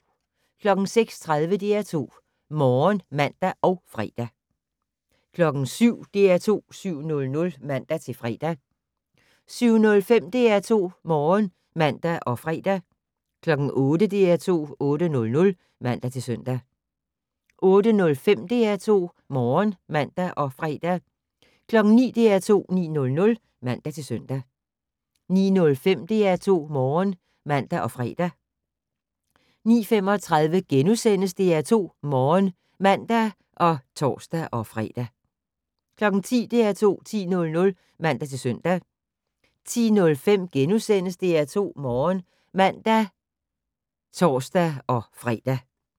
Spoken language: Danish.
06:30: DR2 Morgen (man og fre) 07:00: DR2 7:00 (man-fre) 07:05: DR2 Morgen (man og fre) 08:00: DR2 8:00 (man-søn) 08:05: DR2 Morgen (man og fre) 09:00: DR2 9:00 (man-søn) 09:05: DR2 Morgen (man og fre) 09:35: DR2 Morgen *(man og tor-fre) 10:00: DR2 10:00 (man-søn) 10:05: DR2 Morgen *(man og tor-fre)